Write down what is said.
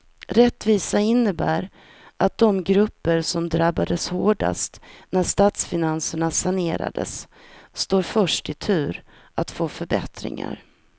Rättvisa innebär att de grupper som drabbades hårdast när statsfinanserna sanerades står först i tur att få förbättringar.